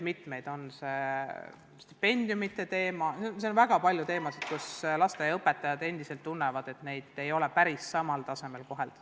On näiteks stipendiumide teema ja väga palju muid teemasid, mille puhul lasteaiaõpetajad endiselt tunnevad, et neid ei ole päris samal tasemel koheldud.